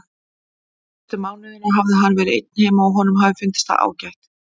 Síðustu mánuðina hafði hann verið einn heima og honum hafði fundist það ágætt.